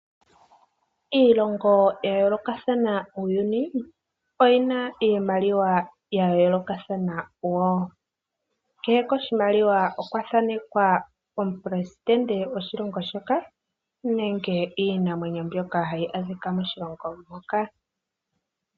Iilongo ya yoolokathana muuyuni oyi na iimaliwa ya yoolokathana wo. Kehe koshimaliwa okwa thanekwa omuperesitende goshilongo shoka nenge iinamwenyo hayi a dhika moshilonga mpoka.